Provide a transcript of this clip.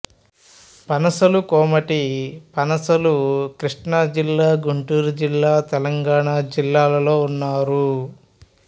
పనసలు కోమటి పనసలు కృష్ణా జిల్లా గుంటూరు జిల్లా తెలంగాణా జిల్లాలలో ఉన్నారు